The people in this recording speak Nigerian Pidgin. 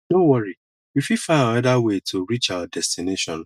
no worry we fit find anoda way to reach our destination